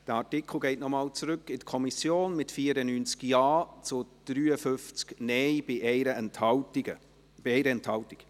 Der Artikel geht noch einmal zurück an die Kommission, mit 94 Ja- zu 53 Nein-Stimmen bei 1 Enthaltung.